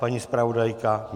Paní zpravodajka?